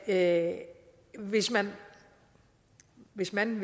at hvis man hvis man